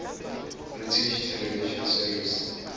british television series